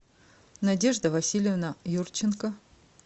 надежда васильевна юрченко